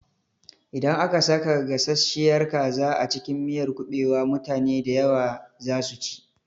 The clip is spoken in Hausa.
Idan aka saka gasasshiyar kaza a cikin miyar kuɓewa, mutane dayawa za su ci